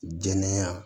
Jɛnɛya